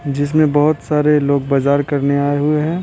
जिसमें बहुत सारे लोग बाजार करने आए हुए हैं।